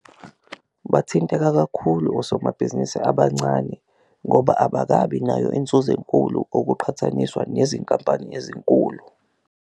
Bathinteka kakhulu osomabhizinisi abancane ngoba abakabi nayo inzuzo enkulu okuqhathaniswa nezinkampani ezinkulu.